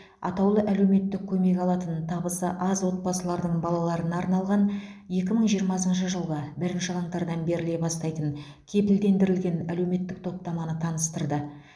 атаулы әлеуметтік көмек алатын табысы аз отбасылардың балаларына арналған екі мың жиырмасыншы жылғы бірінші қаңтардан беріле бастайтын кепілдендірілген әлеуметтік топтаманы таныстырды